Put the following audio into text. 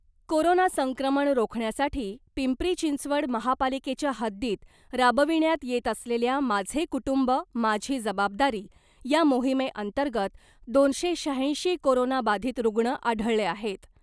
Corona संक्रमण रोखण्यासाठी पिंपरी चिंचवड महापालिकेच्या हद्दीत राबविण्यात येत असलेल्या माझे कुटुंब माझी जबाबदारी या मोहिमेअंतर्गत दोनशे शहाऐंशी कोरोना बाधित रुग्ण आढळले आहेत .